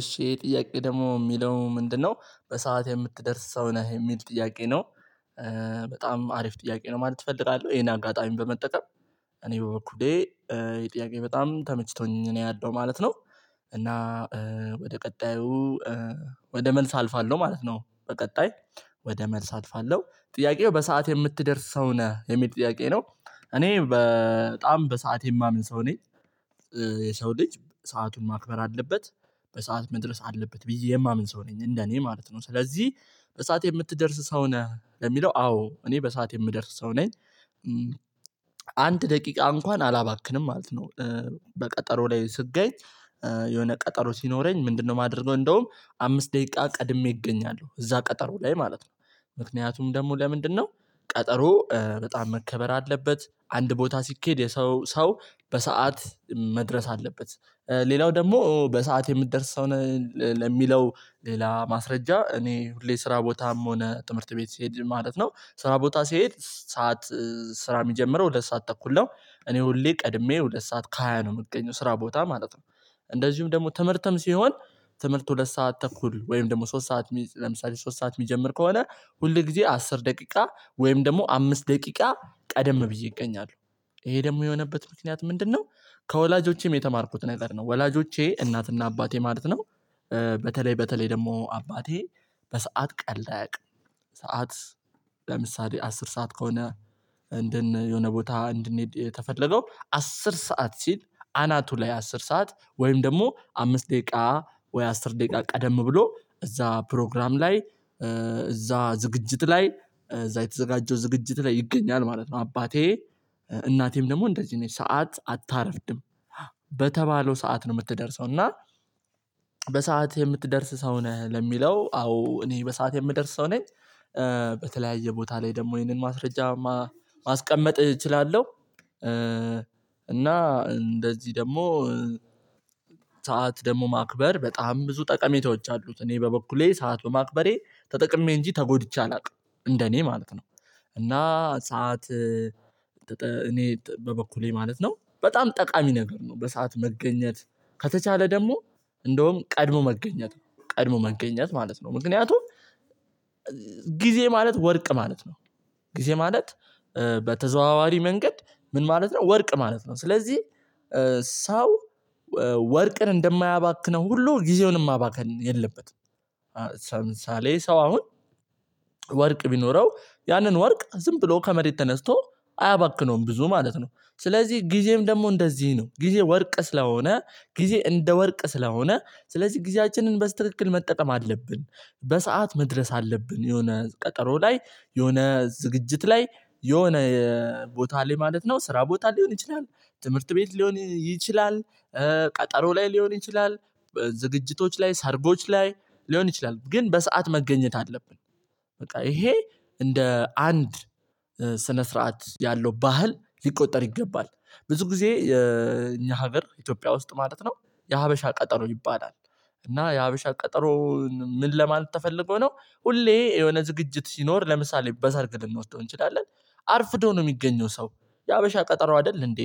እሺ ይሄ ጥያቄ ደግሞ የሚለው ምንድነው በሰአት የምትደርስ ሰው ነህ የሚል ጥያቄ ነው። በጣም አሪፍ ጥያቄ ነው ማለት እፈልጋለሁ ይሄን አጋጣሚ በመጠቀም እኔ በበኩሌ የጥያቄ በጣም ተመችቶኝ እኔ ያለው ማለት ነው። እና ወደ ቀጣዩ ወደ መልስ አልፋለሁ ማለት ነው። በቀጣይ ወደ መልስ አልፋለሁ ጥያቄው በሰአት የምትደርስ ሰው ነህ የሚል ጥያቄ ነው። እኔ በጣም በሰአት የማምን ሰው ነኝ። የሰው ልጅ ሰአቱን ማክበር አለበት። በሰአት መድረስ አለበት ብዬ የማምን ሰው ነኝ እንደ እኔ ማለት ነው ስለዚህ በሰአት የምትደርስ ሰው ነህ ለሚለው አዎ እኔ በሰአት የምደርስ ሰው ነኝ። አንድ ደቂቃ እንኳን አላባክንም ማለት ነው። በቀጠሮ ላይ ስገኝ የሆነ ቀጠሮ ሲኖረኝ ምንድነው የማደርገው እንደውም አምስት ደቂቃ ቀድሜ እገኛለሁ እዛ ቀጠሮ ላይ ማለት ነው። ምክንያቱም ደግሞ ለምንድነው? ቀጠሮ በጣም መከበር አለበት አንድ ቦታ ሲኬድ የሰው ሰው በሰአት መድረስ አለበት። ሌላው ደግሞ በሰአት የምደርስ ሰው ለሚለው ሌላ ማስረጃ እኔ ሁሌ ስራ ቦታም ሆነ ትምህርት ቤት ስሄድ ማለት ነው ስራ ቦታ ስሄድ ሰዓት። ስራ የሚጀምረው ሁለት ሰዓት ተኩል ነው እኔ ሁሌ ቀድሜ ወደ ሰዓት ከሃያ ነው የምገኘው ስራ ቦታ ማለት ነው። እንደዚሁም ደግሞ ትምህርትም ሲሆን ትምህርት ሁለት ሰዓት ተኩል ወይም ደግሞ ሶስት ሰዓት ለምሳሌ ሶስት ሰዓት የሚጀምር ከሆነ ሁል ጊዜ አስር ደቂቃ ወይም ደግሞ አምስት ደቂቃ ቀደም ብዬ እገኛለሁ ይሄ ደግሞ የሆነበት ምክንያት ምንድነው? ከወላጆቼም የተማርኩት ነገር ነው ወላጆቼ እናትና አባቴ ማለት ነው። በተለይ በተለይ ደግሞ አባቴ በሰአት ቀለድ አያቅም። ሰዓት ለምሳሌ አስር ሰዓት ከሆነ። እንደን የሆነ ቦታ እንድንሄድ የተፈለገው አስር ሰዓት ሲል አናቱ ላይ አስር ሰዓት ወይም ደግሞ አምስት ደቂቃ ወይ አስር ደቂቃ ቀደም ብሎ እዛ ፕሮግራም ላይ እዛ ዝግጅት ላይ እዛ የተዘጋጀው ዝግጅት ላይ ይገኛል ማለት ነው። አባቴ እናቴም ደግሞ እንደዚህ ነች ሰዓት አታረፍድም። በተባለው ሰዓት ነው የምትደርሰው እና በሰአት የምትደርስ ሰው ነህ ለሚለው አዎ እኔ በሰአት የምደርስ ሰው ነኝ። በተለያየ ቦታ ላይ ደግሞ ይህንን ማስረጃ ማስቀመጥ እችላለሁ። እና እንደዚህ ደግሞ ሰዓት ደግሞ ማክበር በጣም ብዙ ጠቀሜታዎች አሉት እኔ በበኩሌ ሰዓት በማክበሬ ተጠቅሜ እንጂ ተጎድቼ አላውቅም እንደኔ ማለት ነው። እና ሰዓት እኔ በበኩሌ ማለት ነው በጣም ጠቃሚ ነገር ነው በሰአት መገኘት ከተቻለ ደግሞ እንደውም ቀድሞ መገኘት ነው። ቀድሞ መገኘት ማለት ነው ምክንያቱም ጊዜ ማለት ወርቅ ማለት ነው። ጊዜ ማለት በተዘዋዋሪ መንገድ ምን ማለት ነው ወርቅ ማለት ነው። ስለዚህ ሰው ወርቅን እንደማያባክነው ሁሉ ጊዜውንም ማባከን የለበትም። ሰምሳሌ ሰው አሁን ወርቅ ቢኖረው ያንን ወርቅ ዝም ብሎ ከመሬት ተነስቶ አያባክነውም ብዙ ማለት ነው። ስለዚህ ጊዜም ደግሞ እንደዚህ ነው ጊዜ ወርቅ ስለሆነ ጊዜ እንደ ወርቅ ስለሆነ ስለዚህ ጊዜያችንን በስትክክል መጠቀም አለብን። በሰአት መድረስ አለብን የሆነ ቀጠሮ ላይ የሆነ ዝግጅት ላይ የሆነ ቦታ ላይ ማለት ነው ስራ ቦታ ሊሆን ይችላል። ትምህርት ቤት ሊሆን ይችላል። ቀጠሮ ላይ ሊሆን ይችላል። ዝግጅቶች ላይ ሰርጎች ላይ ሊሆን ይችላል ግን በሰአት መገኘት አለብን። በቃ ይሄ እንደ አንድ ስነ ስርዓት ያለው ባህል ሊቆጠር ይገባል። ብዙ ጊዜ እኛ ሀገር ኢትዮጵያ ውስጥ ማለት ነው የሀበሻ ቀጠሮ ይባላል። እና የሀበሻ ቀጠሮ ምን ለማለት ተፈልጎ ነው? ሁሌ የሆነ ዝግጅት ሲኖር ለምሳሌ በሰርግ ልንወስደው እንችላለን። አርፍዶ ነው የሚገኘው ሰው የሀበሻ ቀጠሮ አይደል እንዴ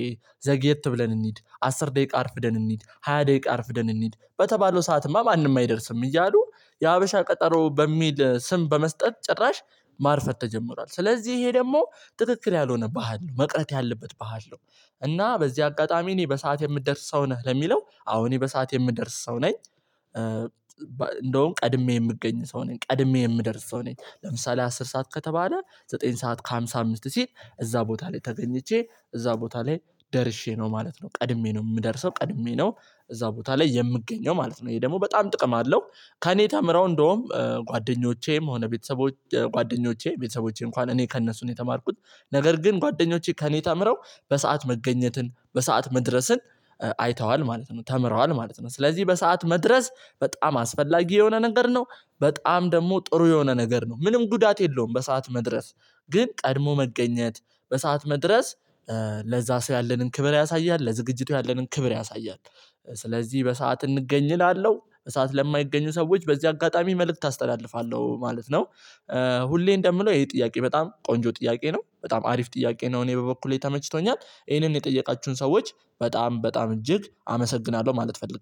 ዘግየት ብለን እንሂድ አስር ደቂቃ አርፍደን እንሂድ ሃያ ደቂቃ አርፍደን እንሂድ በተባለው ሰዓትማ ማንም አይደርስም እያሉ የሀበሻ ቀጠሮ በሚል ስም በመስጠት ጭራሽ ማርፈት ተጀምሯል ስለዚህ ይሄ ደግሞ ትክክል ያልሆነ ባህል ነው መቅረት ያለበት በሀል ነው። እና በዚህ አጋጣሚ እኔ በሰአት የምደርስ ሰው ነህ ለሚለው አዎ እኔ በሰአት የምደርስ ሰው ነኝ። እንደውም ቀድሜ የምገኝ ሰው ነኝ ቀድሜ የምደርስ ሰው ነኝ ለምሳሌ አስር ሰዓት ከተባለ ዘጠኝ ሰዓት ከሃምሳ አምስት ሲል እዛ ቦታ ላይ ተገኝቼ እዛ ቦታ ላይ ደርሼ ነው ማለት ነው ቀድሜ ነው የምደርሰው ቀድሜ ነው። እዛ ቦታ ላይ የምገኘው ማለት ነው ይሄ ደግሞ በጣም ጥቅም አለው። ከእኔ ተምረው እንደውም ጓደኞቼም ሆነ ቤተሰቦቼ ጓደኞቼ ቤተሰቦቼ እንኳን እኔ ከእነሱ ነው የተማርኩት። ነገር ግን ጓደኞቼ ከእኔ ተምረው በሰአት መገኘትን በሰአት መድረስን አይተዋል ማለት ነው ተምረዋል ማለት ነው። ስለዚህ በሰአት መድረስ በጣም አስፈላጊ የሆነ ነገር ነው። በጣም ደግሞ ጥሩ የሆነ ነገር ነው ምንም ጉዳት የለውም። በሰአት መድረስ ግን ቀድሞ መገኘት በሰአት መድረስ ለዛ ሰው ያለንን ክብር ያሳያል ለዝግጅቱ ያለንን ክብር ያሳያል። ስለዚህ በሰአት እንገኝ እላለሁ በሰአት ለማይገኙ ሰዎች በዚህ አጋጣሚ መልእክት አስተላልፋለሁ ማለት ነው። ሁሌ እንደምለው ይሄ ጥያቄ በጣም ቆንጆ ጥያቄ ነው። በጣም አሪፍ ጥያቄ ነው። እኔ በበኩሌ ተመችቶኛል ይሄንን የጠየቃችሁን ሰዎች በጣም በጣም እጅግ አመሰግናለሁ ማለት እፈልጋለሁ